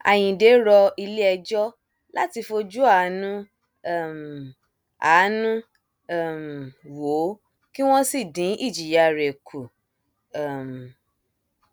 àyíǹde rọ iléẹjọ láti fojú àánú um àánú um wò ó kí wọn sì dín ìjìyà rẹ kù um